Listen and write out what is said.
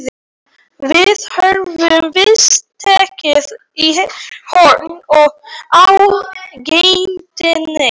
Við höfum víst tekið í horn á geitinni.